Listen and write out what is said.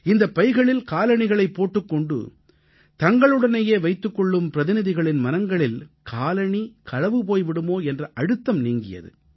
இந்தப் பைகளில் காலணிகளைப் போட்டுக் கொண்டு தங்களுடனேயே வைத்துக் கொள்ளும் பிரதிநிதிகளின் மனங்களில் காலணி களவு போய் விடுமோ என்ற அழுத்தம் நீங்கியது